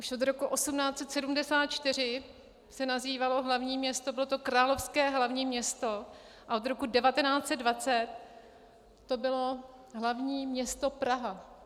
Už od roku 1874 se nazývalo hlavní město, bylo to královské hlavní město, a od roku 1920 to bylo hlavní město Praha.